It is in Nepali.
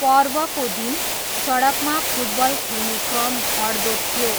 पर्वको दिन सडकमा फुटबल खेल्ने क्रम घट्दो थियो।